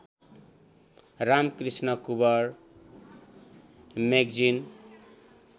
Ramakrishna Kunwar magazine